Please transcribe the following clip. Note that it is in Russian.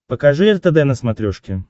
покажи ртд на смотрешке